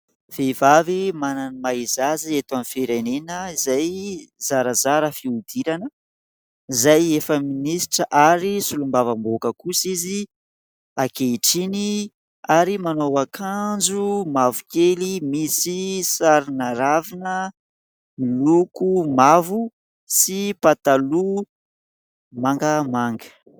Vehivavy manana ny maha izy azy eto amin'ny firenena. Izay zarazara fihodirana izay efa minisitra ary solombavam-bahoaka kosa izy ankehitriny, ary manao akanjo mavokely misy sarina ravina miloko mavo sy pataloha mangamanga.